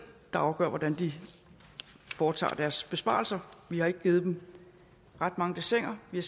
der afgør hvordan de foretager deres besparelser vi har ikke givet dem ret mange dessiner vi